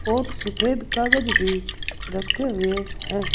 बहुत सफेद कागज भी रखे हुए हैं।